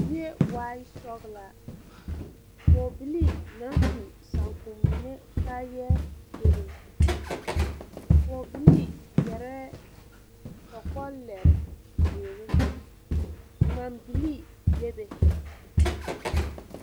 zie waa sɔglaa poge bilii na su saankumene kaayae bebe poge bilii yareɛ kokolere ziire gman bilii bebe